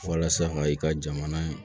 Walasa ka i ka jamana